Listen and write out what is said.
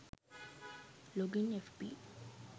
login fb